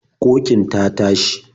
Ƙoƙin ta tashi.